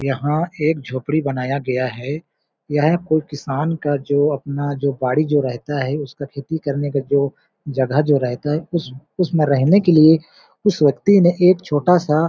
यहाँ एक झोपड़ी बनाया गया है यह कोई किसान का जो अपना जो बाड़ी जो रहता है उसका खेती करने का जो जगह जो रहता है उस उस उसमें रहने के लिए उस व्यक्ति ने एक छोटा सा--